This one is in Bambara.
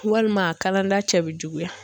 Walima a kalada cɛ bɛ juguya